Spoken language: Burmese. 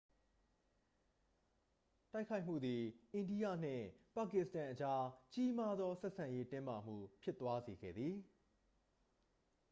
တိုက်ခိုက်မှုသည် အိန္ဒိယနှင့် ပါကစ္စတန်အကြား ကြီးမားသောဆက်ဆံရေး တင်းမာမှုဖြစ်သွားစေခဲ့သည်